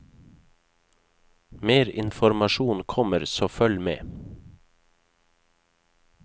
Mer informasjon kommer, så følg med.